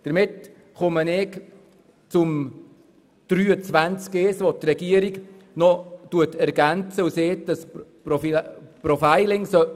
Damit komme ich zu der Ergänzung der Regierung zu Artikel 23 Absatz 1, wonach das Profiling eingeführt werden soll.